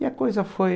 E a coisa foi...